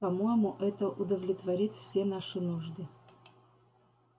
по-моему это удовлетворит все наши нужды